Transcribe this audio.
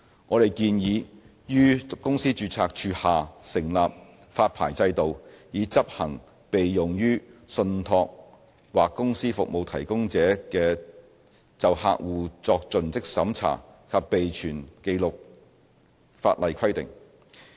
我們建議於公司註冊處下成立發牌制度，以執行適用於信託或公司服務提供者就客戶作盡職審查及備存紀錄的法例規定。